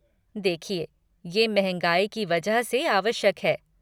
देखिए, ये महँगाई की वजह से आवश्यक है।